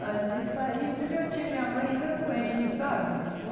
Mas isso aí... Também eu tinha minha mãe ainda doente, sabe?